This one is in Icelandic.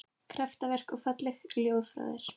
Kraftaverk og falleg ljóð frá þér